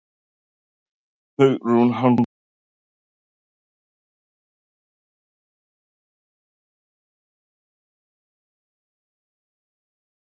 Hugrún Halldórsdóttir: Já er það kannski hann sem dregur ykkur hingað?